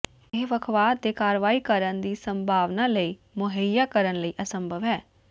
ਇਹ ਵੱਖਵਾਦ ਦੇ ਕਾਰਵਾਈ ਕਰਨ ਦੀ ਸੰਭਾਵਨਾ ਲਈ ਮੁਹੱਈਆ ਕਰਨ ਲਈ ਅਸੰਭਵ ਹੈ